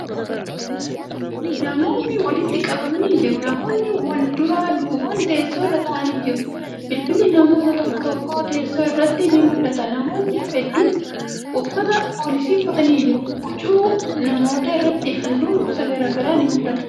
Namootni walitti qabamanii jiru. Namootni walduraa duuban teessoo irra taa'aa jiru. Bilbilli namoota tokko tokkoo, teessoo irratti ni mul'ata. Namootni hedduun uffata poolisii uffatanii jiru. Huccuu namootaa irratti haallun gosa garagaraa ni mul'ata.